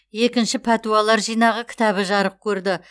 екінші пәтуалар жинағы кітабы жарық көрді